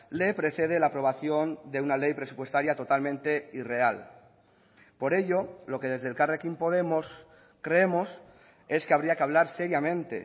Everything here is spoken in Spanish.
le precede la aprobación de una ley presupuestaria totalmente irreal por ello lo que desde elkarrekin podemos creemos es que habría que hablar seriamente